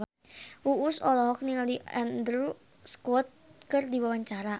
Uus olohok ningali Andrew Scott keur diwawancara